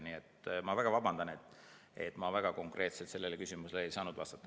Nii et ma väga vabandan, et ma väga konkreetselt ei saa sellele küsimusele vastata.